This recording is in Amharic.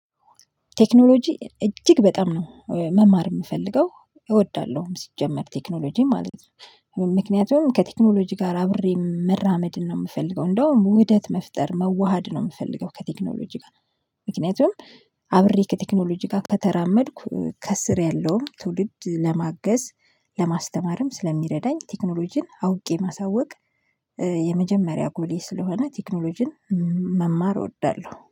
ቴክኖሎጂ እጅግ በጣም ነው መማር የምፈልገው፤ እወዳለሁም ሲጀመር ቴክኖሎጂ ማለት ነው። ምክንያቱም ከቴክኖሎጂ ጋር አብሬ መራመድን ነው የምፈልገው፤ እንደውም ውደት መፍጠር መዋሃድ ነው የምፈልገው ከቴክኖሎጂ ጋር። ምክንያቱም አብሬ ከቴክኖሎጂ ጋር ከተራመድኩ ከስር ያለውን ትውልድ ለማገዝ፤ ለማስተማርም ስለሚረዳኝ፤ ቴክኖሎጂን አውቄ ማሳወቅ፤ የመጀመሪያ ጎሌ ስለሆነ ቴክኖሎጂን መማር እወዳለሁ።